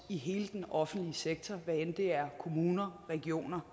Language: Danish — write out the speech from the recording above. i hele den offentlige sektor hvad enten det er kommuner regioner